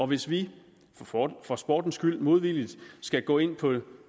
hvis vi for for sportens skyld modvilligt skal gå ind på